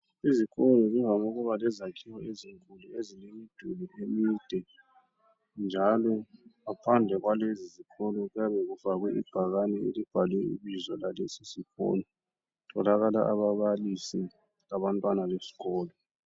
Izikolo zivame ukuba lezakhiwo ezinkulu ezilemiduli emide njalo ngaphandle kwalezo izakhiwo kuyabe kufakwe ibhakane elibhalwe ibizo lalesi sikolo. Kutholakala ababalisi labantwana besikolo.